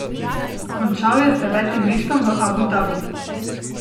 Končal je z devetim mestom v Abu Dabiju.